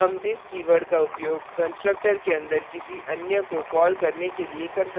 हम this keyword का उपयोग constructor के अंदर किसी अन्य को कॉल करने के लिए कर सकते हैं